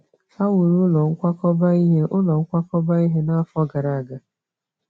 Ha wuru ụlọ nkwakọba ihe ụlọ nkwakọba ihe n'afọ gara aga.